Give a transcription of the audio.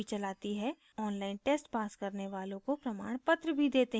online test pass करने वालों को प्रमाणपत्र भी देते हैं